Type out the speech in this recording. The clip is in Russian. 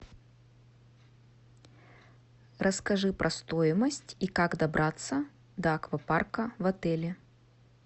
расскажи про стоимость и как добраться до аквапарка в отеле